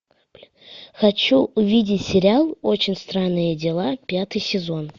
хочу увидеть сериал очень странные дела пятый сезон